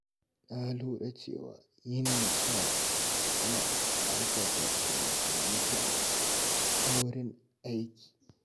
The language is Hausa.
Na lura cewa yin nishaɗi yana ƙarfafa tunanin mutum a wurin aiki.